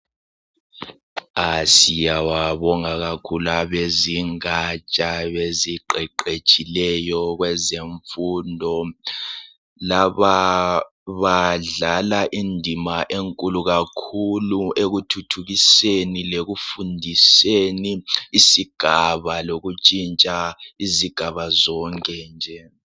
Siyababonga kakhulu abezingaja eziqeqetshileyo kweze mfundo laba badlala indima enkulu kakhulu ekuthuthukiseni lekufundiseni isigaba lokutshintsha izigaba zonke nje